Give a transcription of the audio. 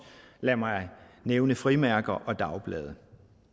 lad mig nævne frimærker og dagblade